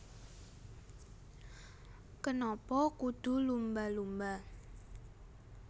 Kenapa Kudu Lumba Lumba